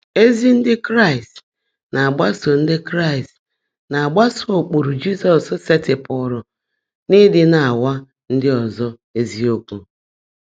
Ézí Ndị́ Kráịst ná-ágbasó Ndị́ Kráịst ná-ágbasó ụ́kpụ́rụ́ Jị́zọ́s seètịpụ́rụ́ n’ị́dị́ ná-áwá ndị́ ọ́zọ́ ézíokwú.